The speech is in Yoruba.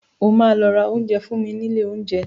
O máa lọ ra oúnjẹ fún mi nílé oúnjẹ.